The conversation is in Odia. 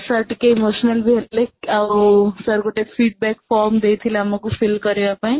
sir ଟିକେ emotional ବି ହେଲେ ଆଉ sir ଗୋଟେ feed back form ଦେଇଥିଲେ ଆମକୁ fill କରିବା ପାଇଁ